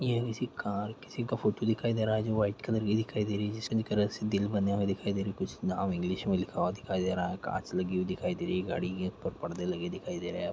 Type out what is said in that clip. ये किसी कार किसी का फोटू दिखाई दे रहा है जो वाइट कलर की दिखाई दे रही जिसमे दिखरा से दिल बने हुए दिखाई दे रहे कुछ नाम इंग्लिश में लिखा हुआ दिखाई दे रहा है कांच लगी हुई दिखाई दे रही है गाड़ी के. ऊपर परदे लगे दिखाई दे रहे है ।